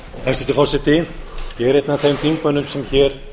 er einn af þeim þingmönnum sem hér